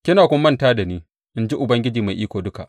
Kina kuma manta da ni, in ji Ubangiji Mai Iko Duka.